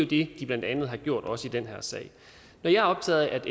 det de blandt andet har gjort også i den her sag når jeg er optaget af